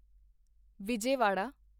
Vijayawada